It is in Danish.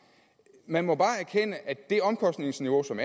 man må bare erkende at det omkostningsniveau som